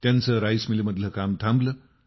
त्यांचं राईस मिलमधलं काम थांबलं